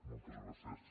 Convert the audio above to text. moltes gràcies